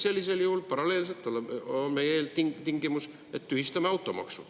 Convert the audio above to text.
Sellisel juhul paralleelselt on meie eeltingimus, et tühistame automaksu.